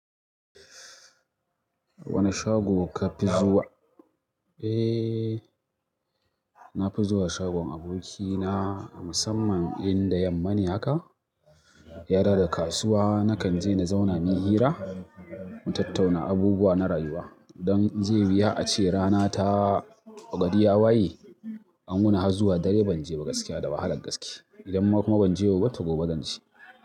Wane shago ka fi zuwa? Eh, na fi zuwa shagon abokina musamman idan da yamman ne haka. Ya dawo daga kasuwa nakan je na zauna miyi hira, mu tattauna abubuwa na rayuwa don in ze wuya ace rana ta gari ya waye, an wuni har zuwa dare ban je ba gaskiya da wahalar gaske. Idan ma kuma ban je yau ba, to gobe zan je.